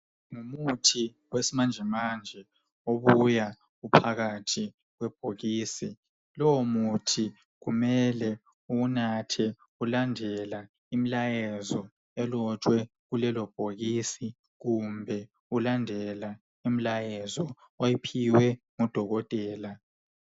Ngumuthi wesimanjemanje obuya uphakathi kwebhokisi. Lowo muthi kumele uwunathe ulandela imilayezo elotshwe kulelo bhokisi kumbe ulandela imilayezo oyiphiwe ngodokotela.